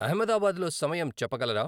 అహ్మదాబాద్లో సమయం చెప్పగలరా